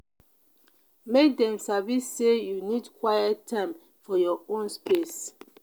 make dem sabi say you need quiet time for your own space.